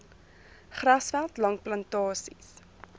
grasveld langs plantasies